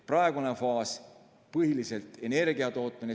Praegune faas on põhiliselt energiatootmine.